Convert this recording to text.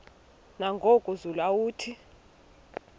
nangoku zulu uauthi